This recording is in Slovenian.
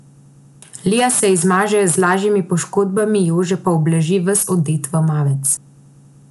Lija se izmaže z lažjimi poškodbami, Jože pa obleži ves odet v mavec.